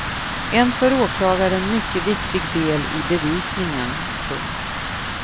En för åklagaren mycket viktig del i bevisningen. punkt